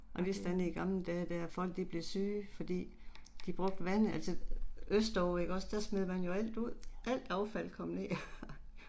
Man vidste aldrig i gammel dage der og folk de blev syge fordi de brugte vandet altså østover ikke også der smed man jo alt ud. Alt affald kom jo her